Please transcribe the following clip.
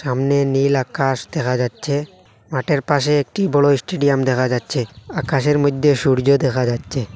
সামনে নীল আকাশ দেখা যাচ্ছে মাঠের পাশে একটি বড়ো স্টেডিয়াম দেখা যাচ্ছে আকাশের মইধ্যে সূর্য দেখা যাচ্ছে।